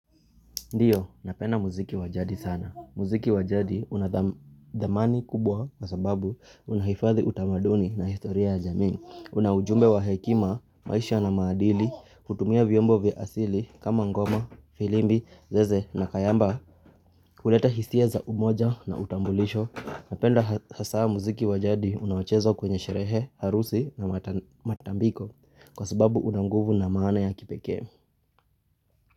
Ndiyo, napenda muziki wa jadi sana. Muziki wa jadi unadhamani kubwa kwa sababu unahifadhi utamaduni na historia ya jamii. Una ujumbe wa hekima, maisha na maadili, hutumia vyombo vya asili kama ngoma, filimbi, zeze na kayamba. Kuleta hisia za umoja na utambulisho. Napenda hasaa muziki wa jadi unaochezwa kwenye sherehe, harusi na matambiko kwa sababu una nguvu na maana ya kipekee.